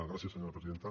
gràcies senyora presidenta